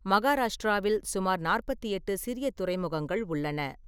மகாராஷ்டிராவில் சுமார் நாற்பத்தி எட்டு சிறிய துறைமுகங்கள் உள்ளன.